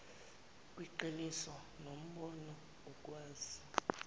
kweqiniso nombono ukukwazi